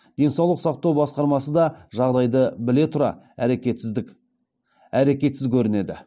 денсаулық сақтау басқармасы да жағдайды біле тұра әрекетсіз көрінеді